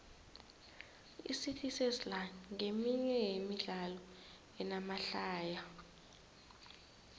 icity sesla nqeminye yemidlalo enamahlaya